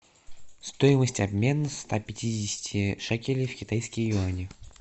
стоимость обмена ста пятидесяти шекелей в китайские юани